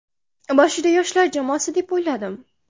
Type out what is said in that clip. Boshida yoshlar jamoasi deb o‘yladim.